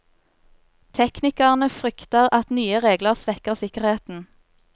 Teknikerne frykter at nye regler svekker sikkerheten.